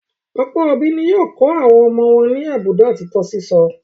Ọ̀pọ̀ òbí ni yóò kọ́ àwọn ọmọ wọn ní àbùdá òtítọ́ sísọ.